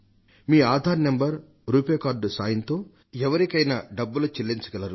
మీ Aadhaar number RuPay card సాయంతో ఎవరికైనా డబ్బులు చెల్లించగలరు